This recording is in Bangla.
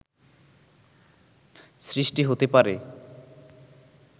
সৃষ্টি হতে পারে